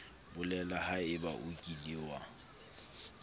bolela haebe o kile wa